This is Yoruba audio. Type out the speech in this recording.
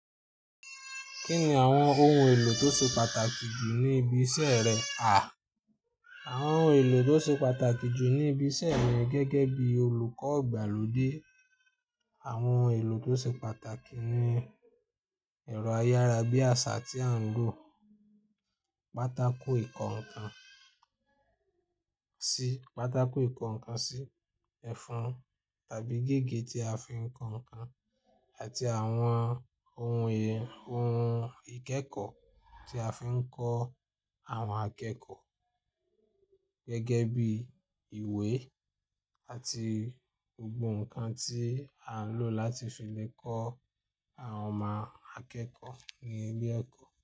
Kí ni àwọn ohun èlò tó ṣe pàtàkì jù ní ibi iṣẹ́ rẹ, à? Àwọn oun èlò tó ṣe pàtàkì jù ní ibi iṣẹ́ rẹ gẹ́gẹ́ bí olùkọ́ ìgbàlódé, àwọn oun èlò tó ṣe pàtàkì ni ẹ̀rọ ayárabíàṣá tí à ń lò, pátákó ìkọ́ ǹkan sí, pátákó ìkọ́ ǹkan sí, ẹ̀fọn tàbí gígé tí a fi ń kọ ǹkan àti àwọn oun è, oun ìkẹ́kọ̀ọ́ tí a fi ń kọ́ àwọn akẹ́kọ̀ọ́ gẹ́gẹ́ bí ìwé àti gbogbo ǹkan tí a ń lò láti fi lè kọ́ àwọn ọmọ akẹ́kọ̀ọ́ ní ilé ẹ̀kọ́